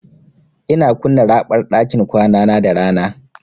Ina kunna raɓar ɗakin kwanana da rana.